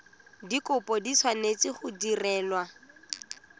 dikopo di tshwanetse go direlwa